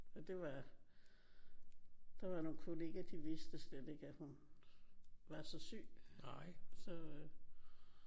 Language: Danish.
Og det var der var nogle kollegaer de vidste slet ikke at hun var så syg så